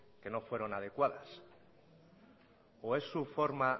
que no fueron adecuados o es su forma